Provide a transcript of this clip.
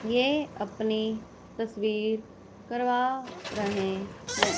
ये अपनी तस्वीर करवा रहे हैं।